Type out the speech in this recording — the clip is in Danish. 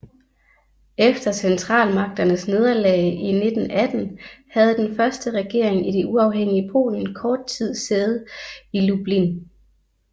Efter Centralmagternes nederlag i 1918 havde den første regering i det uafhængige Polen kort tid sæde i Lublin